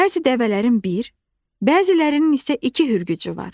Bəzi dəvələrin bir, bəzilərinin isə iki hürgücü var.